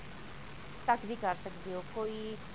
ਤੱਕ ਦੀ ਕਰ ਸਕਦੇ ਹੋ ਕੋਈ